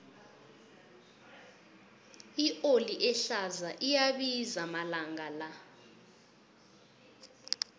ioli ehlaza iyabiza amalanga la